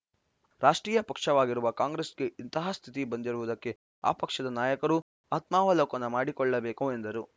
ರಾಷ್ಟ್ರೀಯ ಪಕ್ಷವಾಗಿರುವ ಕಾಂಗ್ರೆಸ್‌ಗೆ ಇಂತಹ ಸ್ಥಿತಿ ಬಂದಿರುವುದಕ್ಕೆ ಆ ಪಕ್ಷದ ನಾಯಕರು ಆತ್ಮಾವಲೋಕನ ಮಾಡಿಕೊಳ್ಳಬೇಕು ಎಂದರು